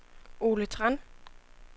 Ole Tran